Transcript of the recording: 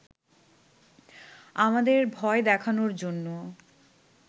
আমাদের ভয় দেখানোর জন্য